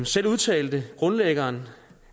selv udtalte grundlæggeren